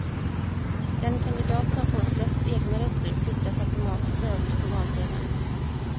Den kandidat som får flest egna röster flyttas automatiskt överst på valsedeln.